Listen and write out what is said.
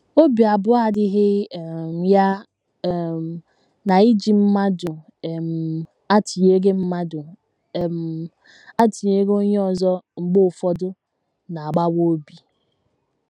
Obi abụọ adịghị um ya um na iji mmadụ um atụnyere mmadụ um atụnyere onye ọzọ mgbe ụfọdụ na - agbawa obi.